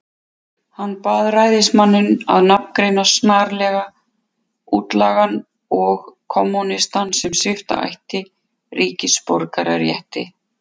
Hann bað ræðismanninn að nafngreina snarlega útlagann og kommúnistann, sem svipta ætti ríkisborgararétti.